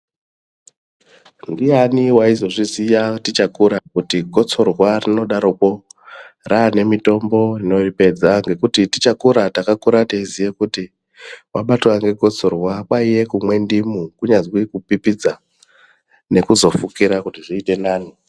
Ndiani waizozviziya tichakura kuti gotsorwa rinodaroko rane mitombo inoripedza mgekuti tichakura takakura teiziya kuti wabatwwa ngegotsorwa kwaiye kumwa ndimu kunyazwi kupipidza nekuzofukira kuti zviite nani.